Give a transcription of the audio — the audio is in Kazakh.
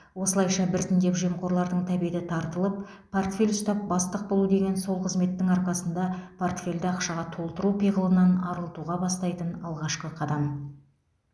осылайша біртіндеп жемқорлардың тәбеті тартылып портфель ұстап бастық болу деген сол қызметтің арқасында портфельді ақшаға толтыру пиғылынан арылтуға бастайтын алғашқы қадам